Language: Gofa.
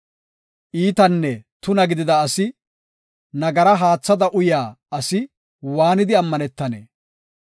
Iitanne tuna gidida asi, nagara haathada uyaa asi waanidi ammanetanee?